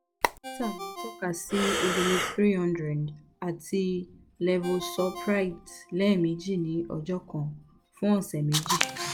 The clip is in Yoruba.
dọkita mi tọka si udiliv three hundred ati levosulpiride lẹmeji ni ọjọ kan fun ọsẹ meji